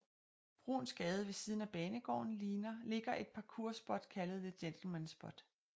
Bruuns Gade ved siden af banegården ligger et parkour spot kaldet The Gentleman Spot